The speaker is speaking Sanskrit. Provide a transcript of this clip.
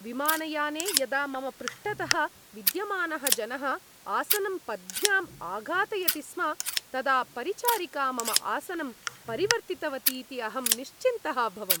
विमानयाने यदा मम पृष्ठतः विद्यमानः जनः आसनं पद्भ्यां आघातयति स्म तदा परिचारिका मम आसनं परिवर्तितवतीति अहं निश्चिन्तः अभवम्।